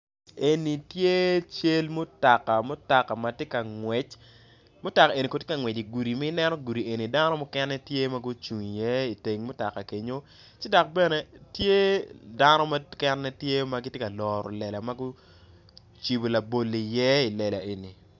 Eni tye cal mutoka mutoka matye ka ngwec mutoka eni kono tye ngwec idi gudi ma ineno gudi eni dano mukene tye magucung i ye iteng mutoka kenyo ci dok bene tye dano mukene tye magitye ka loro lela magucibo labolo i ye ilela eni.